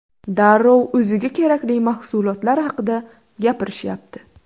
Darrov o‘ziga kerakli mahsulotlar haqida gapirishyapti.